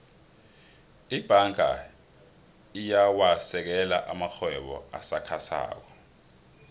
ibhanga iyawasekela amarhwebo asakhasako